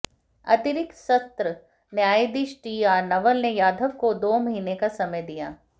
अतिरिक्त सत्र न्यायाधीश टी आर नवल ने यादव को दो महीने का समय दिया